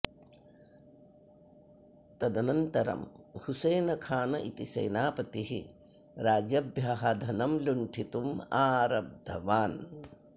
तदनन्तरं हुसेनखान् इति सेनापतिः राजभ्यः धनं लुण्ठितुम् आरब्धवान्